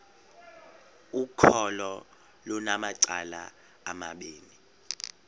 ukholo lunamacala amabini